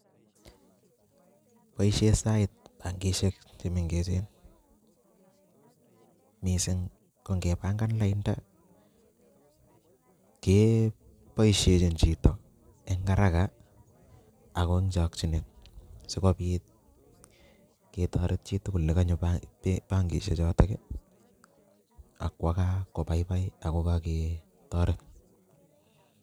Boishen sait benkishek chemeng'echen mising ko ng'ebang'an lainda keboishechin chito en araka ago en chokyinet sikobit ketoret chitukul nekonyo bankishe chotok ak kwoo kaa kobaibai ak ko koketoret.